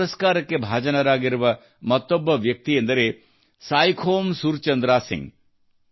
ಈ ಪುರಸ್ಕಾರಕ್ಕೆ ಭಾಜನರಾಗಿರುವ ಮತ್ತೊಬ್ಬ ವ್ಯಕ್ತಿಯೆಂದರೆ ಸಾಯಿಖೋಮ್ ಸುರ್ ಚಂದ್ರಾ ಸಿಂಗ್